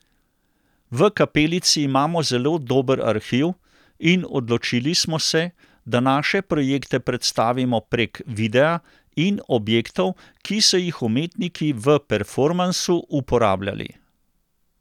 V Kapelici imamo zelo dober arhiv in odločili smo se, da naše projekte predstavimo prek videa in objektov, ki so jih umetniki v performansu uporabljali.